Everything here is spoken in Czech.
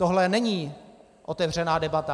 Tohle není otevřená debata.